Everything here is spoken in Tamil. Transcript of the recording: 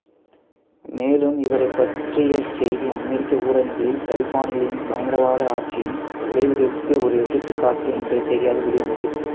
மேலும் இவரைப் பற்றிய செய்தி அமெரிக்க ஊடகங்களில் தலிபான்களின் பயங்கரவாத ஆட்சியின் விளைவுகளுக்கு ஒரு எடுத்துக்காட்டு என்ற செய்தியாக வெளியானது